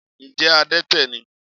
Ǹjẹ́ adẹ́tẹ̀ ni?